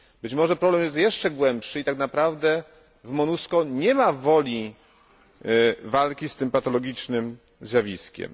Być może problem jest jeszcze głębszy i tak naprawdę w MONUSCO nie ma woli walki z tym patologicznym zjawiskiem.